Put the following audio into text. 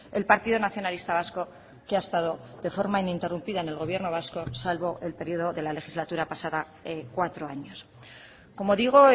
el partido nacionalista vasco que ha estado de forma ininterrumpida en el gobierno vasco salvo el periodo de la legislatura pasada cuatro años como digo